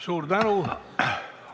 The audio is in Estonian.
Suur tänu!